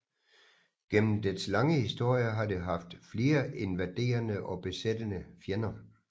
Gennem dets lange historie har det haft flere invaderende og besættende fjender